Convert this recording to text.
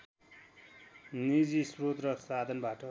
निजी श्रोत र साधनबाट